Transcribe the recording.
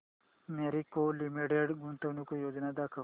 Marico limited गुंतवणूक योजना दाखव